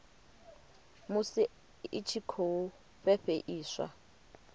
musi i tshi khou fhefheiswa